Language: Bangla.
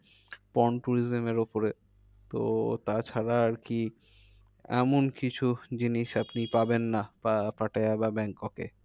tourism এর ওপরে তো তাছাড়া আর কি এখন কিছু জিনিস আপনি পাবেন না বা পাটায়া বা ব্যাংককে